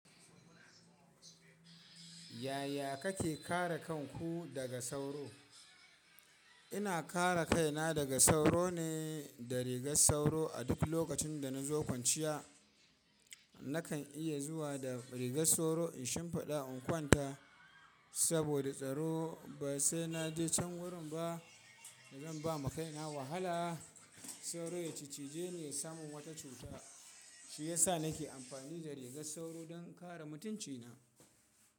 Yaya kake kare kanku daga sauro? Ina kare kaina daga sauro ne da rigar sauro. A duk lokacin da nazo kwanciya, nakan iya zuwa da rigar sauro in shimfiɗa in kwanta. Saboda tsaro ba sai naje can wurin ba zan bama kaina wahala. Sauro ya ciccije ni ya samun wata cuta, shi yasa nake amfani da rigar sauro don kare mutunci na.